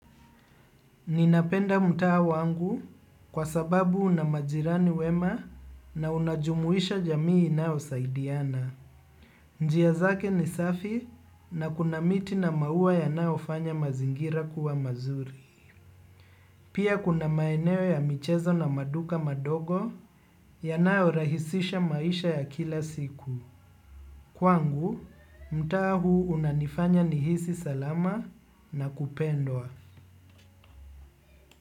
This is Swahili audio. Ninapenda mtaa wangu kwa sababu unamajirani wema na unajumuisha jamii inao saidiana. Njia zake ni safi na kuna miti na maua yanao fanya mazingira kuwa mazuri. Pia kuna maeneo ya michezo na maduka madogo yanao rahisisha maisha ya kila siku. Kwangu, mtaa huu unanifanya nihisi salama na kupendwa.